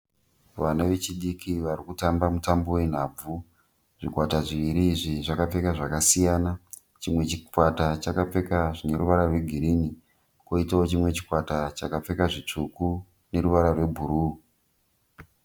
Vana vechidiki vari kutambamutambo wenhabvu. Zvikwata zviviri izvi zvakapfeka zvakasiyana. Chimwe chikwata chakapfeka zvine ruvara rwegirini kwoitawo chimwe chikwata chakapfeka zvitsvuku neruvara rwebhuruu.